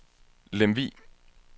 Lemvug